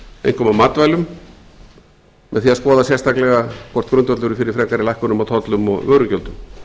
einkum á matvælum með því að skoða sérstaklega hvort grundvöllur er fyrir frekari lækkunum á tollum og vörugjöldum